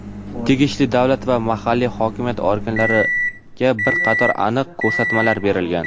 tegishli davlat va mahalliy hokimiyat organlariga bir qator aniq ko‘rsatmalar berilgan.